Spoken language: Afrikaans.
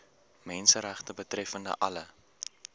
menseregte betreffende alle